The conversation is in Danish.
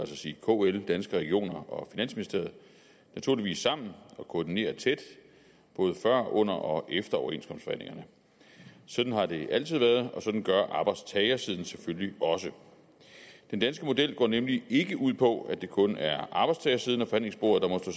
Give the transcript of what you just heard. sige kl danske regioner og finansministeriet naturligvis sammen og koordinerer tæt både før under og efter overenskomstforhandlingerne sådan har det altid været og sådan gør arbejdstagersiden selvfølgelig også den danske model går nemlig ikke ud på at det kun er arbejdstagersiden af forhandlingsbordet der